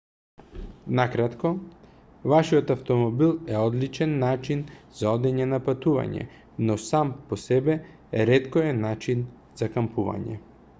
на кратко вашиот автомобил е одличен начин за одење на патување но сам по себе ретко е начин за кампување